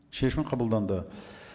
шешім қабылданды